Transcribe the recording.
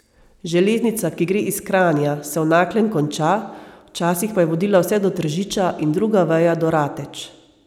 Železnica, ki gre iz Kranja, se v Naklem konča, včasih pa je vodila vse do Tržiča in druga veja do Rateč.